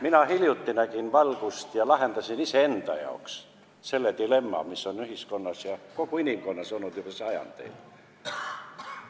Mina hiljuti nägin valgust ja lahendasin iseenda jaoks selle dilemma, mille ees on kogu inimkond seisnud juba sajandeid.